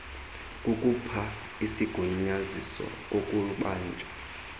kukhupha isigunyaziso kokubanjwa